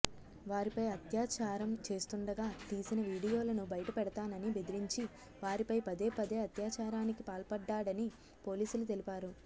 వారిపై అత్యాచారం చేస్తుండగా తీసిన వీడియోలను బయటపెడతానని బెదిరించి వారిపై పదేపదే అత్యాచారానికి పాల్పడ్డాడని పోలీసులు తెలిపారు